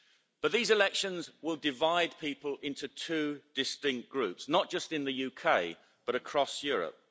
But these elections will divide people into two distinct groups, not just in the UK but across Europe.